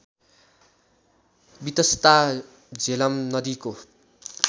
वितस्ता झेलम नदीको